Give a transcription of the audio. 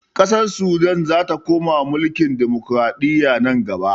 Ƙasar sudan zata koma mulkin dimukuraɗiyya nan gaba